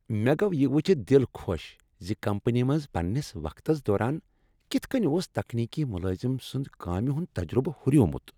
مےٚ گوٚو یہ وٕچھتھ دل خۄش ز کمپنی منٛز پننس وقتس دوران کتھ کٔنۍ اوس تکنیکی ملٲزم سند کامہ ہند تجربہٕ ہریومت۔